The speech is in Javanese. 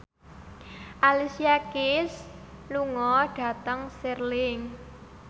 Alicia Keys lunga dhateng Stirling